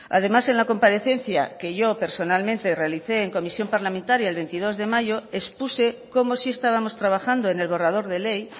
además en la comparecencia que yo personalmente realice en comisión parlamentaria el veintidós de mayo expuse como sí estábamos trabajando en el borrador de ley